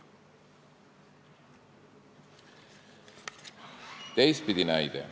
Teistpidi näide.